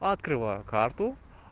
открываю карту